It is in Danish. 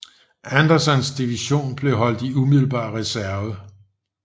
Andersons division blev holdt i umiddelbar reserve